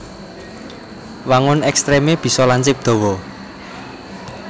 Wangun ekstremé bisa lancip dawa